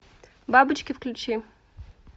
бабочки включи